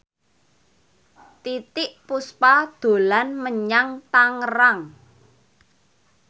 Titiek Puspa dolan menyang Tangerang